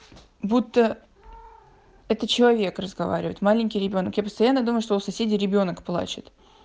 будто это человек разговаривает маленький ребёнок я постоянно думаю что у соседей ребёнок плачет